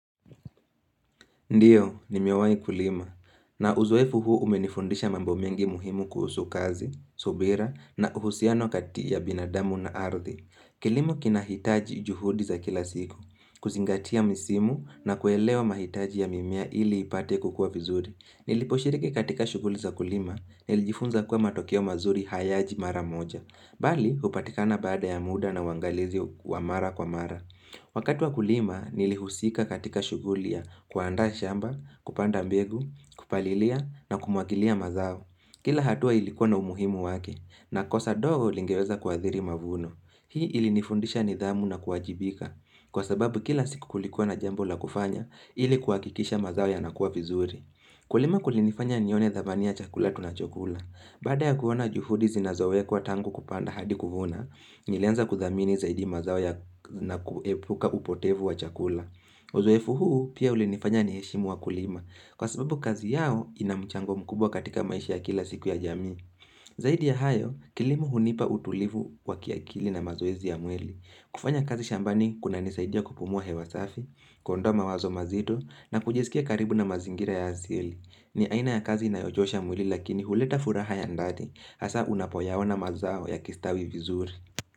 Ndiyo, nimewahi kulima. Na uzoefu huu umenifundisha mambo mengi muhimu kuhusu kazi, subira na uhusiano kati ya binadamu na ardhi. Kilimo kinahitaji juhudi za kila siku. Kuzingatia misimu na kuelewa mahitaji ya mimea ili ipate kukua vizuri. Niliposhiriki katika shuguli za kulima, nilijifunza kuwa matokeo mazuri hayaji mara moja. Bali, hupatikana baada ya muda na uangalizi wa mara kwa mara. Wakati wa kulima nilihusika katika shughuli ya kuandaa shamba, kupanda mbegu, kupalilia na kumwagilia mazao. Kila hatua ilikuwa na umuhimu wake na kosa ndogo lingeweza kuadhiri mavuno. Hii ilinifundisha nidhamu na kuajibika Kwa sababu kila siku kulikuwa na jambo la kufanya ili kuhakikisha mazao yanakuwa vizuri Kulima kulinifanya nione thabania chakula tunachokula. Baada ya kuona juhudi zinazowekwa tangu kupanda hadi kuvuna, nilianza kuthamini zaidi mazao na kuepuka upotevu wa chakula. Uzoefu huu pia ulinifanya niheshimu wakulima. Kwa sababu kazi yao inamchango mkubwa katika maisha ya kila siku ya jamii. Zaidi ya hayo, kilimo hunipa utulivu wa kiakili na mazoezi ya mwili. Kufanya kazi shambani, kunanisaidia kupumua hewa safi, kuondoa mawazo mazito, na kujiskia karibu na mazingira ya asili. Ni aina ya kazi inayochosha mwili lakini huleta furaha ya ndani Hasa unapoyaona mazao yakistawi vizuri.